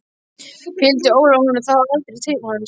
Fylgdi Ólafur honum þá aldrei til hans?